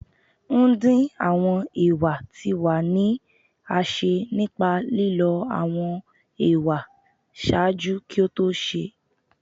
ndin awọn ewa ti wa ni a ṣe nipa lilọ awọn ewa ṣaaju ki o to se